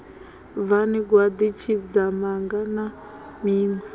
bvani gwaḓi tshidzamanga na zwiṋwe